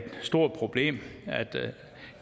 stort problem at